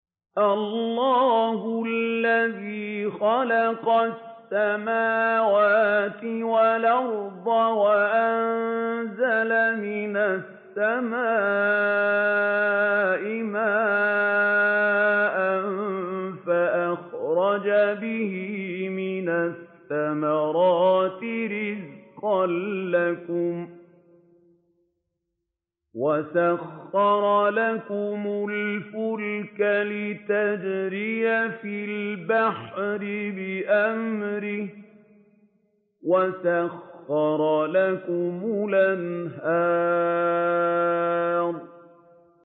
اللَّهُ الَّذِي خَلَقَ السَّمَاوَاتِ وَالْأَرْضَ وَأَنزَلَ مِنَ السَّمَاءِ مَاءً فَأَخْرَجَ بِهِ مِنَ الثَّمَرَاتِ رِزْقًا لَّكُمْ ۖ وَسَخَّرَ لَكُمُ الْفُلْكَ لِتَجْرِيَ فِي الْبَحْرِ بِأَمْرِهِ ۖ وَسَخَّرَ لَكُمُ الْأَنْهَارَ